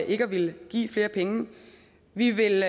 ikke at ville give flere penge vi vil